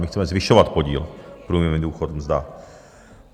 My chceme zvyšovat podíl průměrný důchod - mzda.